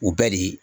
U bɛɛ de